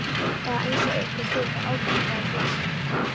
Eða eins og einhver þurfi að ákveða það fyrir mig.